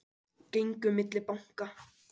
Gengu milli banka